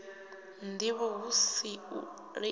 ndivho hu si u liana